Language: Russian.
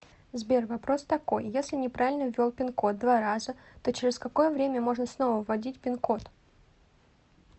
сбер вопрос такой если неправильно ввел пин код два раза то через какое время можно снова вводить пин код